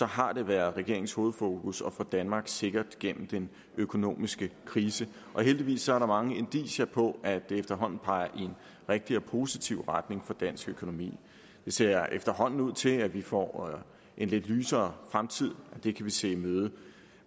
har været regeringens hovedfokus at få danmark sikkert gennem den økonomiske krise og heldigvis er der mange indicier på at det efterhånden peger i en rigtig og positiv retning for dansk økonomi det ser efterhånden ud til at vi får en lidt lysere fremtid og det kan vi se i møde